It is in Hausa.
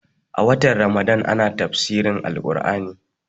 A watan ramadan ana tafsirin Al Ƙur'ani